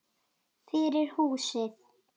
Fyrir húsið.